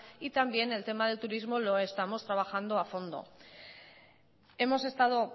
y también el tema del turismo lo estamos trabajando a fondo hemos estado